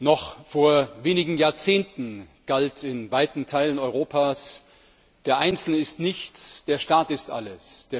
Noch vor wenigen Jahrzehnten galt in weiten Teilen Europas Der Einzelne ist nichts, der Staat ist alles.